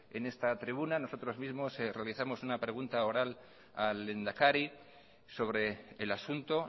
en esta tribuna nosotros mismos realizamos una pregunta oral al lehendakari sobre el asunto